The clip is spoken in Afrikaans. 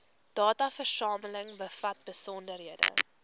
dataversameling bevat besonderhede